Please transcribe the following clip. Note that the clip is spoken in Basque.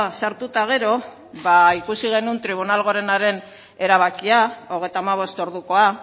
sartu eta gero ba ikusi genuen tribunal gorenaren erabakia hogeita hamabost ordukoa